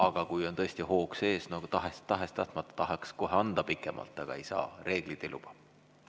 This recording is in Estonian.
Aga kui on tõesti hoog sees, siis tahes-tahtmata tahaks kohe anda pikemalt aega, aga ei saa, reeglid ei luba.